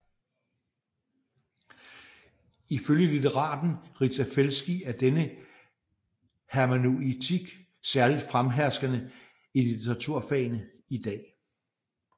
Ifølge litteraten Rita Felski er denne hermeneutik særligt fremherskende i litteraturfagene i dag